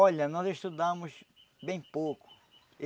Olha, nós estudamos bem pouco.